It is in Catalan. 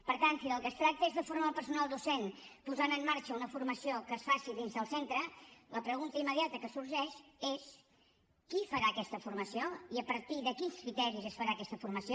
per tant si del que es tracta és de formar el personal docent posant en marxa una formació que es faci dins del centre la pregunta immediata que sorgeix és qui farà aquesta formació i a partir de quins criteris es farà aquesta formació